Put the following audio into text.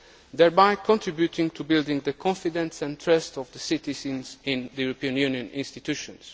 thereby contributing to building the confidence and trust of the citizens in the European Union institutions.